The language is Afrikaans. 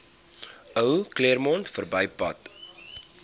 ou claremont verbypad